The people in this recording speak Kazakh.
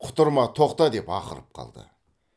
құтырма тоқта деп ақырып қалды